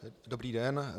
Dobrý den.